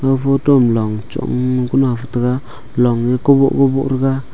ag photo ma long chongnu kah maktaga long ye koboh koboh thega.